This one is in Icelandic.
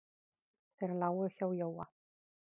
Þeir lágu hjá Jóa.